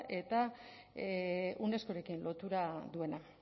eta unescorekin lotura duena